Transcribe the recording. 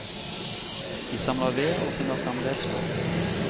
De samler ved og finner frem redskap.